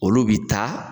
Olu bi taa